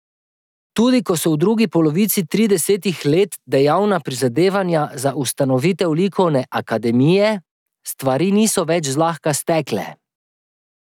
Tudi ko so v drugi polovici tridesetih let dejavna prizadevanja za ustanovitev likovne akademije, stvari niso več zlahka stekle.